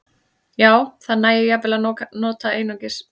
Já, það nægir jafnvel að nota einungis segul eða einungis rafmagn.